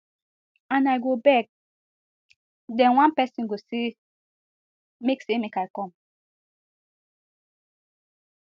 and i go beg den one pesin go say make say make i come